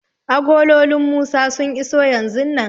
Agololin Musa sun iso yanzun nan.